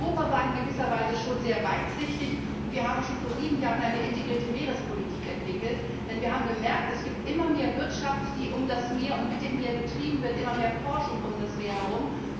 Europa war in gewisser Weise sehr weitsichtig, da wir schon vor sieben Jahren eine integrierte Meerespolitik entwickelt haben, denn wir haben gemerkt, es gibt immer mehr Wirtschaft, die um das Meer und mit dem Meer betrieben wird, und immer mehr Forschung um das Meer herum.